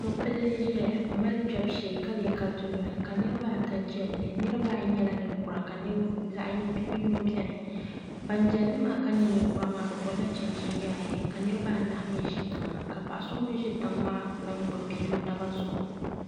Mopilli n ʒɛya m mali kpebu shee ka lee ka dunoli ka niriba ata jilli niriba ayi nyɛla ninkura ka bia yino biɛni nan jilli maa ka nyɛ ninkura maa bɛ gobila chinchin yaaye ka niriba anahi mee ʒi tiŋa ka paɣa so ŋun ʒi tiŋ maa lahi gbibi bia o naba zuɣu.